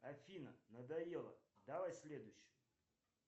афина надоела давай следующую